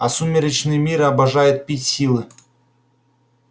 а сумеречный мир обожает пить силы